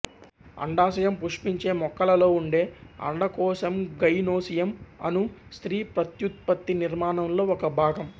అండాశయం పుష్పించే మొక్కలలో ఉండే అండకోశంగైనోసియం అను స్త్రీ ప్రత్యుత్పత్తి నిర్మాణంలో ఒక భాగం